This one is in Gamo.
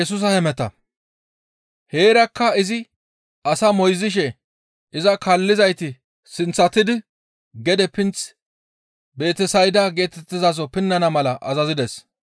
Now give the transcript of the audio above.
Heerakka izi asaa moyzishe iza kaallizayti sinththatidi gede pinth Betesayda geetettizaso pinnana mala azazides.